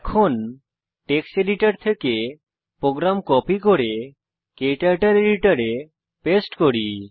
এখন text editor থেকে program copy করে ক্টার্টল এডিটর এ পেস্ট করি